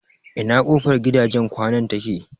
Ina kofar gidajen kwanan take?